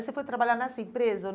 Você foi trabalhar nessa empresa?